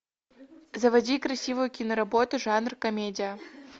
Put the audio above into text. заводи красивую киноработу жанр комедия